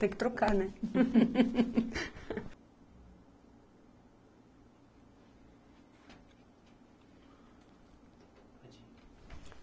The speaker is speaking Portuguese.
Tem que trocar, né? Pode ir